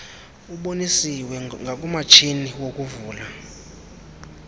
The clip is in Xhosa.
ubonisiwe ngakumatshini wokuvala